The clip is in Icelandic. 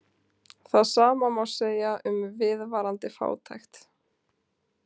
Það sama má segja um viðvarandi fátækt.